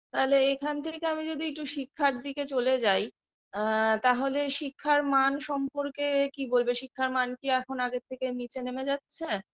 তাহলে এখান থেকে আমি যদি একটু শিক্ষার দিকে চলে যাই আ তাহলে শিক্ষার মান সম্পর্কে কি বলবে শিক্ষার মান কি এখন আগের থেকে নিচে নেমে যাচ্ছে